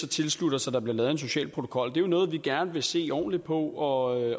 tilslutte os at der bliver lavet en social protokol det er noget vi gerne vil se ordentligt på og